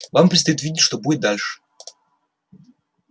вам предстоит видеть что будет дальше